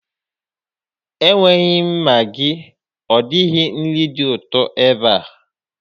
Enweghị Maggi ọ dịghị nri dị ụtọ ebe a.